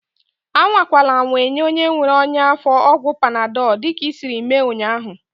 Anwakwala anwa enye onye nwere ọnyá afọ ọgwụ panadọl dịka isiiri mee ụnyaahụ!